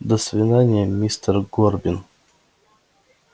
до свидания мистер горбин